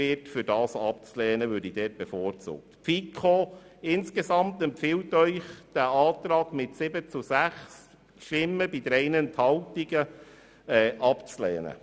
Die FiKo-Mehrheit empfiehlt Ihnen mit 7 zu 6 Stimmen bei 3 Enthaltungen, diesen Antrag abzulehnen.